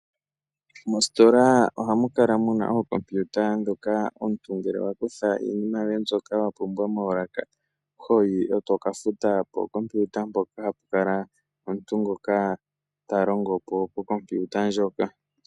Mostola ohamu kala muna ookompiuta, dhoka omuntu ngele wa kutha iinima yoye mbyoka wa pumbwa moolaka, hoyi eto ka futa pookompiuta mpoka, hapu kala omuntu ngoka ta longo po pokompiuta ndjoka.